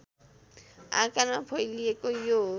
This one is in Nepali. आकारमा फैलिएको यो